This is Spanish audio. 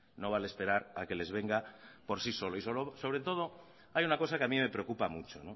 no vale esperar a que les venga por sí solo y sobre todo hay una cosa que a mí me preocupa mucho